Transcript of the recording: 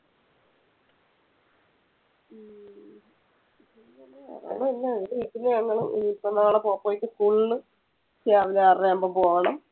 പിന്നെ ഒന്നുല്ലഇനീപ്പോ നാളെ പോപ്പോയ്ക്ക് school രാവിലെ ആറര ആകുമ്പോൾ പോകണം.